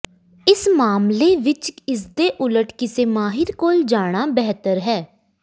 ਇਸ ਮਾਮਲੇ ਵਿੱਚ ਇਸਦੇ ਉਲਟ ਕਿਸੇ ਮਾਹਿਰ ਕੋਲ ਜਾਣਾ ਬਿਹਤਰ ਹੈ